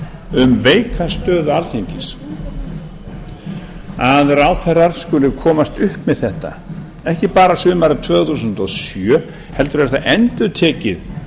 um veika stöðu alþingis að ráðherrar skulu komast upp með þetta ekki bara sumarið tvö þúsund og sjö heldur er það endurtekið